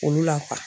Olu la